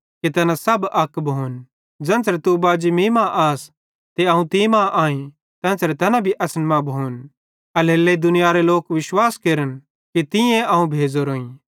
कि तैना सब अक भोन ज़ेन्च़रे तू बाजी मीं मां आस ते अवं तीं मां आई तेन्च़रे तैना असन मां भोन एल्हेरेलेइ दुनियारे लोक विश्वास केरन कि तींए अवं भेज़ोरोईं